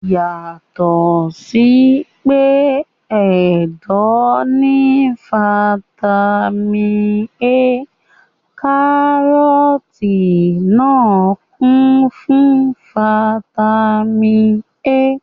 Yàtọ̀ sí pé ẹ̀dọ̀ ní fataímìn A, kárọ́tì náà kún fún fataímìn A.